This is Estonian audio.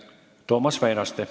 Toomas Väinaste.